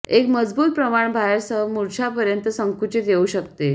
एक मजबूत प्रमाणा बाहेर सह मूर्छा पर्यंत संकुचित येऊ शकते